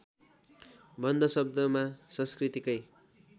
बन्ध शब्दमा संस्कृतकै